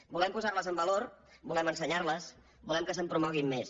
volem posar les en valor volem ensenyar les volem que es promoguin més